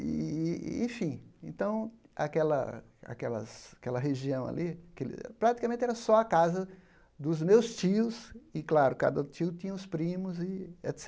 Ih enfim, então aquela aquelas aquela região ali aquele praticamente era só a casa dos meus tios e, claro, cada tio tinha os primos e